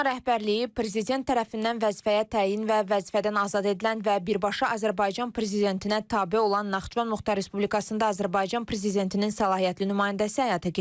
Ona rəhbərliyi prezident tərəfindən vəzifəyə təyin və vəzifədən azad edilən və birbaşa Azərbaycan prezidentinə tabe olan Naxçıvan Muxtar Respublikasında Azərbaycan prezidentinin səlahiyyətli nümayəndəsi həyata keçirir.